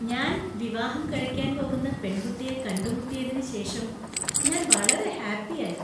ഞാൻ വിവാഹം കഴിക്കാൻ പോകുന്ന പെൺകുട്ടിയെ കണ്ടുമുട്ടിയതിന് ശേഷം ഞാൻ വളരെ ഹാപ്പിയായി .